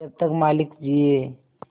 जब तक मालिक जिये